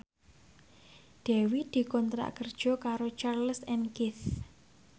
Dewi dikontrak kerja karo Charles and Keith